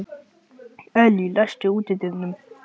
Elly, læstu útidyrunum.